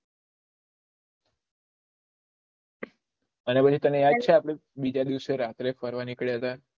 અને પછી તને યાદ છે બીજા દિવસે રાત્રે ફરવા નીકળયા હતા